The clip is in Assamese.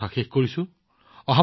দেশৰ মান বৃদ্ধি অব্যাহত থাকক